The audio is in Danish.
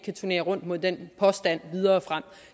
kan turnere rundt med den påstand videre frem